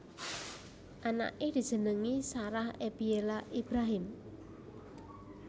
Anaké dijenengi Sarah Ebiela Ibrahim